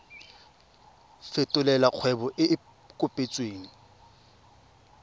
fetolela kgwebo e e kopetswengcc